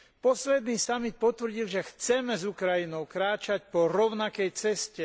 Posledný samit potvrdil, že chceme s Ukrajinou kráčať po rovnakej ceste.